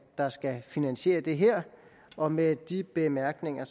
der skal finansiere det her og med de bemærkninger